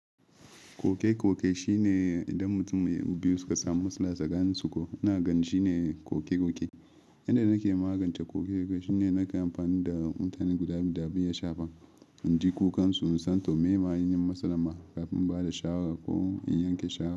Koke-koke shine idan mutum biyu suka samu matsala tsakaninsu ko. Ina ganin shine koke-koke. Yanda nake magance koke-koke shine nake amfani da mutanen guda biyu da biyu ya shafa, inji kukansu, in san to me ma ainihin matsalan ma kafin in bada shawarar ko in yanke shawara.